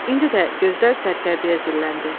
İndi də gözlər sərkərdəyə zilləndi.